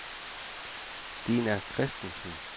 Dina Kristensen